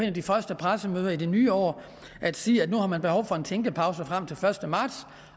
af de første pressemøder i det nye år at sige at nu har man behov for en tænkepause frem til den første marts